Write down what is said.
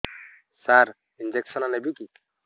ସାର injection ନେବିକି